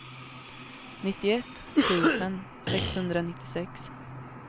nittioett tusen sexhundranittiosex